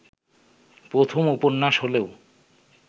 প্রথম উপন্যাস হলেও